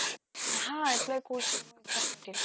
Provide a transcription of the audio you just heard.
হা apply কৰিছিলো মই exam নিদিলো